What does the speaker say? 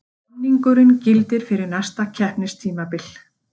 Samningurinn gildir fyrir næsta keppnistímabil